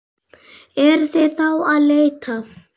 Eruð þið þá að leita?